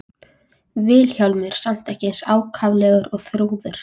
Vilhjálmur samt ekki eins ákaflega og Þrúður.